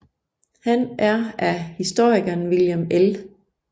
Han er af historikeren William L